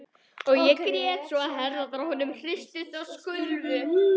Og grét svo að herðarnar á honum hristust og skulfu.